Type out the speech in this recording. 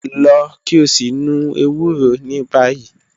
Lọ ki o si nu ewuro ni bayi